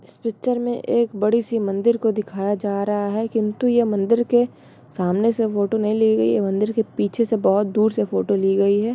इस पिक्चर में एक बड़ी-सी मंदिर को दिखाया जा रहा है किन्तु ये मंदिर के सामने से फोटो नहीं ली गई है मंदिर के पीछे से बहुत दूर से फोटो ली गई है।